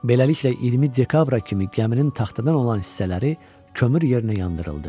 Beləliklə 20 dekabra kimi gəminin taxtadan olan hissələri kömür yerinə yandırıldı.